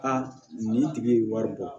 nin tigi ye wari bɔ